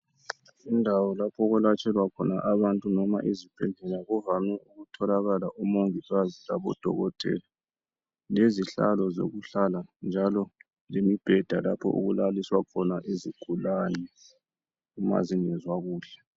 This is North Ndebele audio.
Indawo lapho okwelatshwelwa khona abantu noma ezibhedlela kuvame ukutholakala umongikazi labodokotela, lezihlalo zokuhlala njalo lemibheda lapho okulaliswa khona izigulane ma zingezwa kuhle.